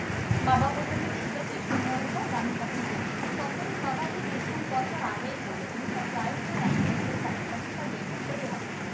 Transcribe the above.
বাবা বললো যে ঠিক আছে সময় হোক আমি তখন করবো তখন বাবা এই কিছু বছর আগে করলো জানিসতো প্রায় তোর একবছর কাছাকাছি বা দেড় বছরই হবে